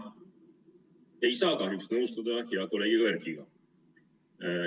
Ma ei saa kahjuks nõustuda hea kolleegi Erkiga.